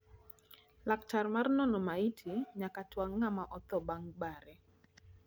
laktar mar nono maiti nyaka twang ngama otho bang bare